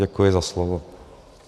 Děkuji za slovo.